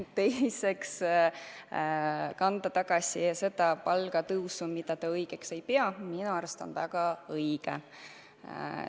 Teiseks, kanda tagasi see palgatõusuraha, mida te õigeks ei pea, on minu arust väga õige.